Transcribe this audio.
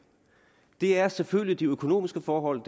det er selvfølgelig de økonomiske forhold